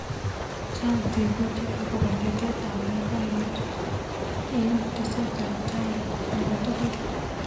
chang tebutik akobo tetet ab boiboyot eng teset ab tai nebo tugul